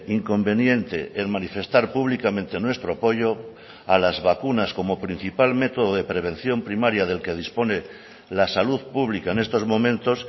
inconveniente el manifestar públicamente nuestro apoyo a las vacunas como principal método de prevención primaria del que dispone la salud pública en estos momentos